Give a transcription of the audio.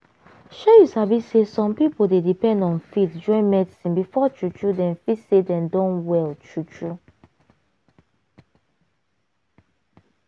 shey you sabi say some pipo dey depend on faith join medicine before true true dem feel say dem don well true true.